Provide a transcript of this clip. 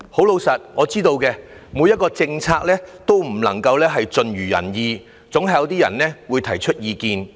老實說，我知道沒有一項政策能夠盡如人意，總會有一些人提出意見。